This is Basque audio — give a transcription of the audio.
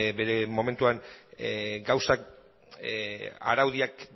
bere momentuan gauzak araudiak